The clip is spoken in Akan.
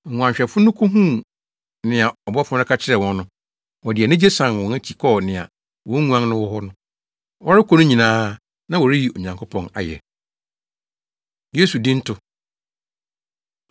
Nguanhwɛfo no kohuu nea ɔbɔfo no ka kyerɛɛ wɔn no, wɔde anigye san wɔn akyi kɔɔ nea wɔn nguan no wɔ hɔ. Wɔrekɔ no nyinaa, na wɔreyi Onyankopɔn ayɛ. Yesu Dinto